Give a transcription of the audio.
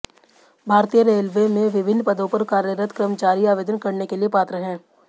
भारतीय रेलवे में विभिन्न पदों पर कार्यरत कर्मचारी आवेदन करने के लिए पात्र हैं